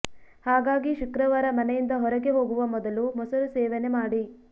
ಹಾಗಾಗಿ ಶುಕ್ರವಾರ ಮನೆಯಿಂದ ಹೊರಗೆ ಹೋಗುವ ಮೊದಲು ಮೊಸರು ಸೇವನೆ ಮಾಡಿ